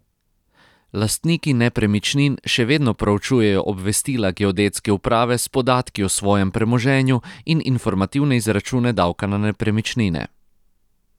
Lastniki nepremičnin še vedno proučujejo obvestila geodetske uprave s podatki o svojem premoženju in informativne izračune davka na nepremičnine.